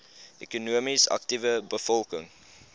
ekonomies aktiewe bevolking